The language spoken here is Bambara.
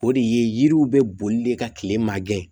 O de ye yiriw bɛ boli de ka kile mangɛn